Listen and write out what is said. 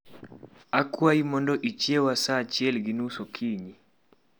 Akwayi mondo ichieya saa achiel gi nus okinyi